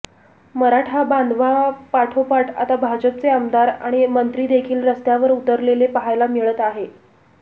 मराठा बांधवांपाठोपाठ आता भाजपचे आमदार आणि मंत्री देखील रस्त्यावर उतरलेले पहायला मिळत आहे